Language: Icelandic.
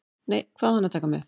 Nei, hvað á hann að taka með?